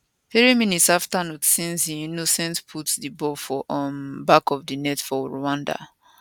three minutes afta nshuti innocent put di ball for um back of di net for rwanda